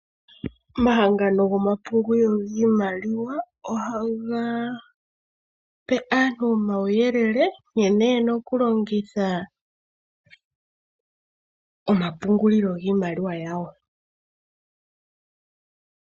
Omahangano gomapungulilo giimaliwa ohaga pe aantu omauyelele nkene yena okulongitha omapungulilo giimaliwa yawo.